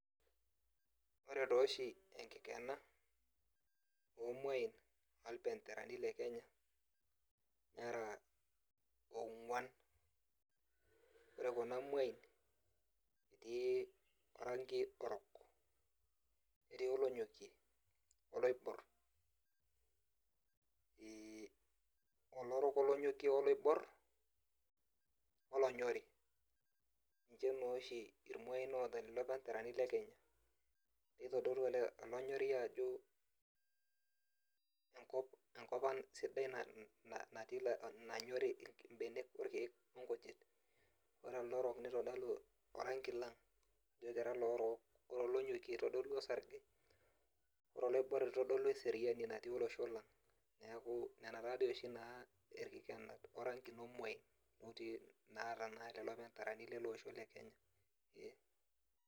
Ore toshi enkikena, omuain orbenderani le Kenya, nera ong'uan. Ore kuna muain, etii oranki orok, etii olonyokie oloibor. Olorok, olonyokie oloibor, olonyori. Ninche noshi irmuain ota lelo benderani le Kenya. Nitodolu olonyori ajo enkop enkop ang sidai natii nanyori ibenek, orkeek onkujit. Ore elde orok nitodolu oranki lang. Ajo kira lorook. Ore olonyokie itodolua osarge. Ore oloibor itodolu eseriani natii olosho lang. Neeku nena tadi oshi naa irkikenat orankin omuain, oti naata naa lelo benderani lelosho le Kenya.